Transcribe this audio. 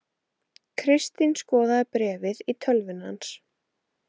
Kristín skoðaði bréfið í tölvunni hans.